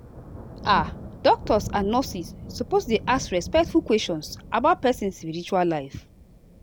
ah doctors and nurses suppose dey ask respectful questions about person spiritual life.